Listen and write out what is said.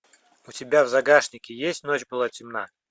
у тебя в загашнике есть ночь была темна